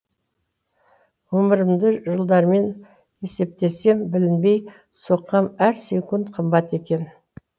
өмірімді жылдармен есептесем білінбей соққан әр секунд қымбат екен